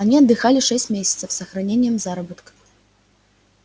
они отдыхали шесть месяцев с сохранением заработка